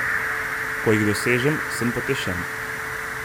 Ko jih dosežem, sem potešen.